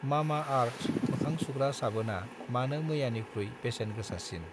Mamaearth मोखां सुग्रा साबोनआ मानो मैयानिख्रुइ बेसेन गोसासिन?